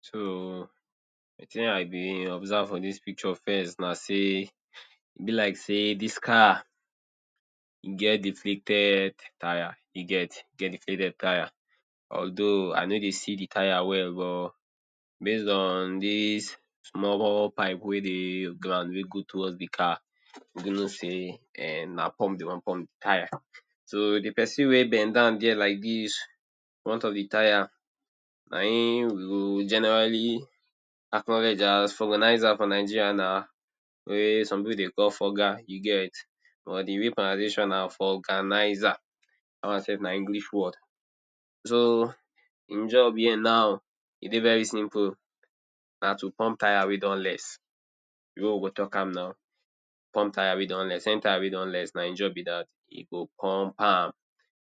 So, wetin I be observe for dis picture first na sey, e be like sey dis car e get deflated tyre e get deflated tyre. Although I no dey see de tyre well but base on dis small pipe wey dey ground wey dey go towards de car, you go know sey na pump de wan pump the tyre. So de person wey bend down there like dis in front of de tyre na im we go generally acknowledge as vulcanizer for Nigeria na wey some pipu dey call vulca you get, but de real pronunciation na vulcanizer dat one self na English word so eim job here now e dey very simple na to pump tyre wey don less, the way we go talk am now, pump tyre wey don less any tyre wey don less na im job be dat e go pump am.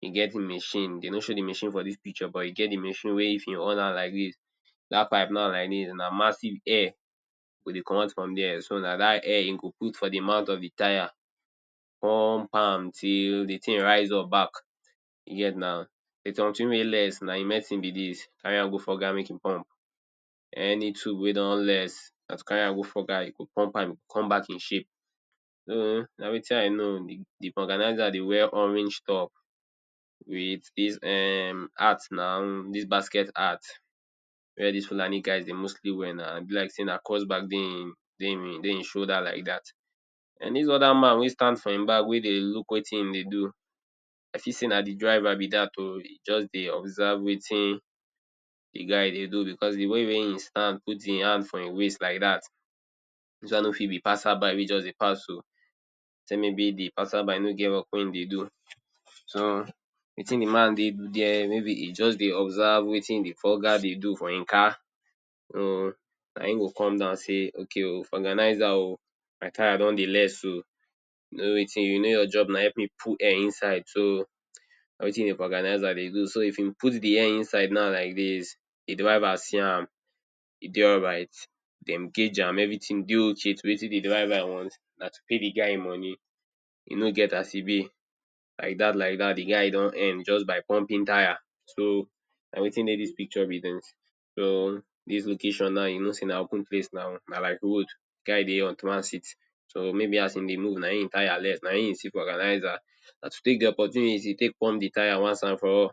E get e machine dem nor show am for dis picture, but e get e machine wey if e on am like dis. That pipe now like dis na massive air go dey comot from der so na dat air e go put for the tyre. Pump am till de thing rise up back. Yes na something wey less na e medicine be dis carry am go vulca make e pump. Any tube wey don less, na to carry am go folca e go pump am e go come back in shape. so, na wetin I know the vulcanizer dey wear orange top with dis um hat na dis basket hat wey dis Fulani guys dey mostly wear na e be like sey na cross bag dey e dey ee shoulder like that. And dis other man wey stand for e back wey dey look wetin e dey do, as if sey na de driver be dat um e just dey observe wetin de guy dey do because de way wey e stand put e hand for e waist like dat, dis one no fit be passerby wey just dey pass o except maybe the passerby no get work wey e dey do. so wetin de man dey do there e just dey observe wetin de vulca dey do for e car. um na im go come down sey okay vulcanizer um my tyre don dey less um you know wetin you know your job na help put air inside so na wetin de vulcanizer dey do so if e put de air inside like dis, de driver see am e dey alright, dem gauge am every dey okay to wetin de driver want, na to pay de guy e money e no get as e be. Like dat like dat de guy don earn just by pumping tyre, so na wetin dey dis picture be dis. So dis location na you no sey na open place na like road. Guy dey on transit so maybe as e dey move n aim tyre less n aim see vulcanizer na to take de opportunity take pump de tyre once and for all.